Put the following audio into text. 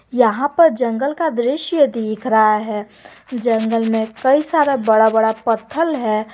यहां पर जंगल का दृश्य दिख रहा है जंगल में कई सारा बड़ा बड़ा पत्थल है।